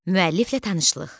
Müəlliflə tanışlıq.